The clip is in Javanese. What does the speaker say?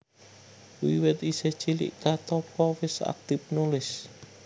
Wiwit isih cilik Katoppo wis aktif nulis